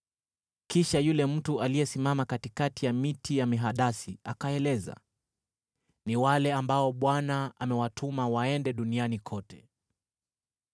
Kisha yule mtu aliyesimama katikati ya miti ya mihadasi akaeleza, “Ni wale ambao Bwana amewatuma waende duniani kote.”